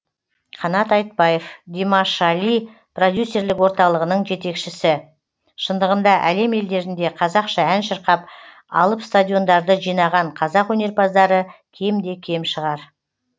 қанат айтбаев димашали продюсерлік орталығының жетекшісі шындығында әлем елдерінде қазақша ән шырқап алып стадиондарды жинаған қазақ өнерпаздары кемде кем шығар